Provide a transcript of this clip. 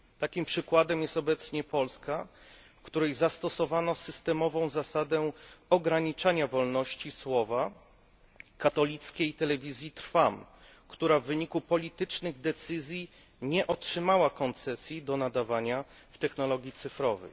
Takim przykładem jest obecnie Polska, w której zastosowano systemową zasadę ograniczania wolności słowa katolickiej Telewizji Trwam, która w wyniku politycznych decyzji nie otrzymała koncesji na nadawanie w technologii cyfrowej.